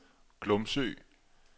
Glumsø